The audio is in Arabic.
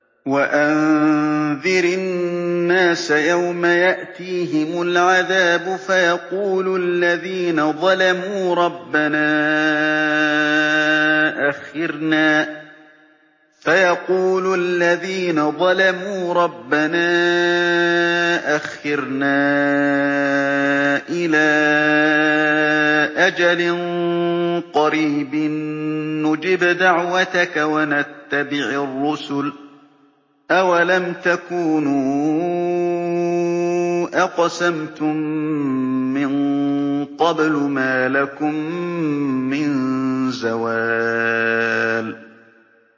وَأَنذِرِ النَّاسَ يَوْمَ يَأْتِيهِمُ الْعَذَابُ فَيَقُولُ الَّذِينَ ظَلَمُوا رَبَّنَا أَخِّرْنَا إِلَىٰ أَجَلٍ قَرِيبٍ نُّجِبْ دَعْوَتَكَ وَنَتَّبِعِ الرُّسُلَ ۗ أَوَلَمْ تَكُونُوا أَقْسَمْتُم مِّن قَبْلُ مَا لَكُم مِّن زَوَالٍ